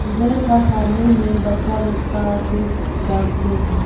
घर का सामने में बच्चा लोग का फेस दाग के है।